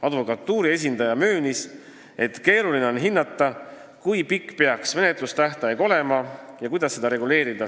Advokatuuri esindaja möönis, et keeruline on hinnata, kui pikk peaks menetlustähtaeg olema ja kuidas seda reguleerida.